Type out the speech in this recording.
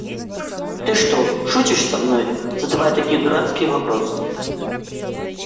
ты что шутишь со мной задавая такие дурацкие вопросы